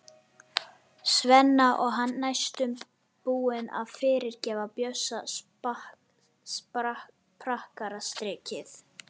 Svenna og hann næstum búinn að fyrirgefa Bjössa prakkarastrikið.